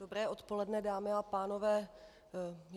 Dobré odpoledne dámy a pánové.